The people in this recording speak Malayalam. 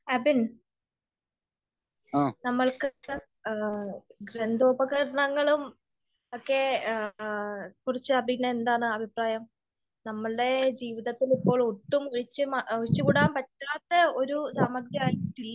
അഭിൻ നമ്മൾക്ക് യന്ത്ര ഉപകരണങ്ങളും ഒക്കെ കുറിച്ച് അഭിന് എന്താണ് അഭിപ്രായം? നമ്മളുടെ ജീവിതത്തില് ഇപ്പോ ഒട്ടും ഒഴിച്ച്കൂടാൻ പറ്റാത്ത ഒരു സാമഗ്രി ആയിട്ടില്ലേ ?